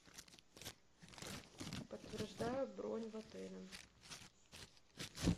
подтверждаю бронь в отеле